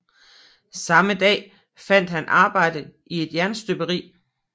Samme dag fandt han arbejde i et jernstøberi